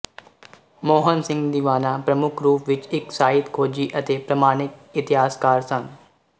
ਮੋਹਨ ਸਿੰਘ ਦੀਵਾਨਾ ਪ੍ਰਮੁੱਖ ਰੂਪ ਵਿਚ ਇੱਕ ਸਾਹਿਤ ਖੋਜੀ ਅਤੇ ਪ੍ਰਮਾਣਿਕ ਇਤਿਹਾਸਕਾਰ ਸਨ